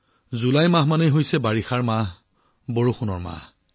July মাহ অৰ্থাৎ বৰষুণ বতৰ